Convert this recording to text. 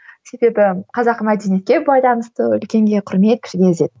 себебі қазақы мәдениетке байланысты үлкенге құрмет кішіге ізет